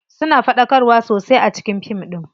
Suna faɗakarwa sosai a cikin fin ɗin.